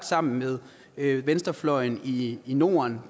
sammen med venstrefløjen i norden